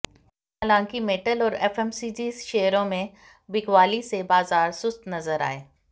हालांकि मेटल और एफएमसीजी शेयरों में बिकवाली से बाजार सुस्त नजर आए